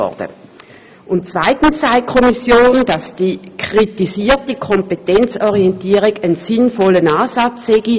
Zweitens sagt die Kommission, die kritisierte Kompetenzorientierung sei ein sinnvoller Ansatz.